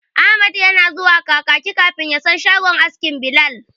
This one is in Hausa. Ahmad yana zuwa Kakaki kafin ya san shagon askin Bilal.